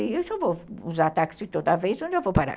Eu só vou usar táxi toda vez onde eu vou parar.